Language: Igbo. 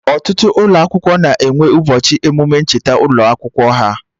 Ọtụtụ ụlọ akwụkwọ na-enwe ụbọchị emụme ncheta ụlọ akwụkwọ ha